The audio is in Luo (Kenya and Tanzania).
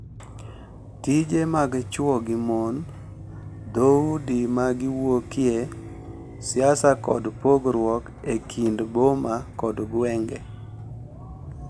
Tije mag chwo gi mon, dhoudi ma giwuokye, siasa, kod pogruok e kind boma kod gwenge.